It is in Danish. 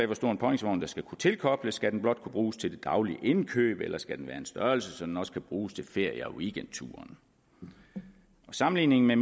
hvor stor en påhængsvogn der skal kunne tilkobles skal den blot kunne bruges til det daglige indkøb eller skal den have en størrelse så den også kan bruges til ferie og weekendturen sammenligningen med